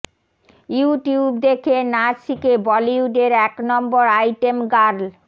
YouTube দেখে নাচ শিখে বলিউডের এক নম্বর আইটেম গার্ল